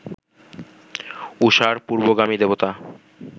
ঊষার পূর্ব্বগামী দেবতা